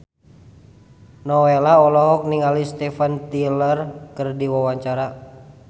Nowela olohok ningali Steven Tyler keur diwawancara